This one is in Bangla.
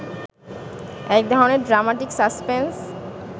একধরনের ড্রামাটিক সাসপেন্স